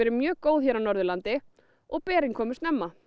mjög góð hér á Norðurlandi og berin komu snemma